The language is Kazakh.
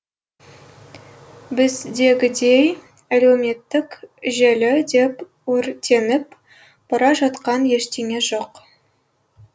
біздегідей әлеуметтік желі деп өртеніп бара жатқан ештеңе жоқ